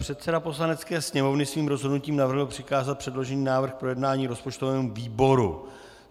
Předseda Poslanecké sněmovny svým rozhodnutím navrhl přikázat předložený návrh k projednání rozpočtovému výboru.